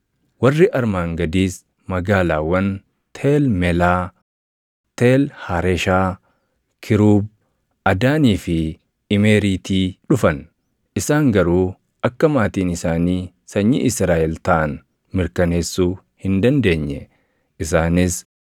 Warri armaan gadiis magaalaawwan Teel Melaa, Teel Hareshaa, Kiruub, Adaanii fi Imeeriitii dhufan; isaan garuu akka maatiin isaanii sanyii Israaʼel taʼan mirkaneessuu hin dandeenye; isaanis: